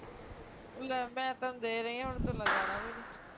ਲੇ ਮੈਂ ਤੇਨੂੰ ਦੇ ਰਹੀ ਹੁਣ ਤੂੰ ਲਗਾਉਣਾ ਵੀ ਨੀ